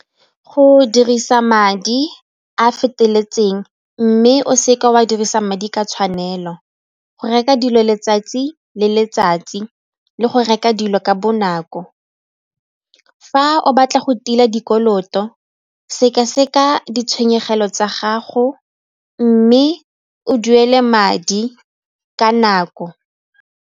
Go dirisa madi a a feteletseng mme o seka wa dirisa madi ka tshwanelo, go reka dilo letsatsi le letsatsi le go reka dilo ka bonako. Fa o batla go tila dikoloto, sekaseka ditshenyegelo tsa gago mme o duele madi ka nako.